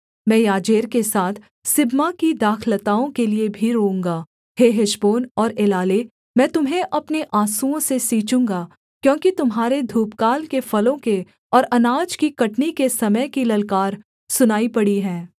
मैं याजेर के साथ सिबमा की दाखलताओं के लिये भी रोऊँगा हे हेशबोन और एलाले मैं तुम्हें अपने आँसुओं से सींचूँगा क्योंकि तुम्हारे धूपकाल के फलों के और अनाज की कटनी के समय की ललकार सुनाई पड़ी है